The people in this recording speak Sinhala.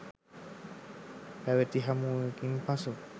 පැවති හමුවකින් පසු